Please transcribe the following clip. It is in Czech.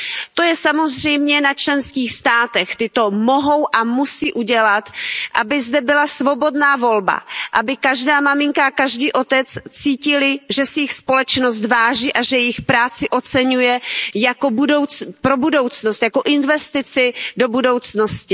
To je samozřejmě na členských státech, ty to mohou a musí udělat, aby zde byla svobodná volba, aby každá maminka a každý otec cítili, že si jich společnost váží a že jejich práci oceňuje jako investici do budoucnosti.